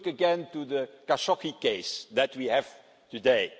Look again at the Khashoggi case that we have today.